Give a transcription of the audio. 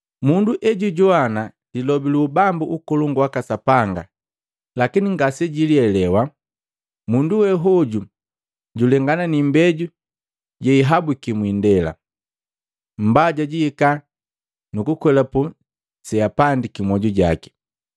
Mundu ejijoana lilobi lu Ubambu ukolongu waka Sapanga lakini ngasejilielewa, mundu we hoju julengana ni imbeju yehihabuki mwiindela. Mbaja jihika nukukwelapu seapandiki mmoju jaki.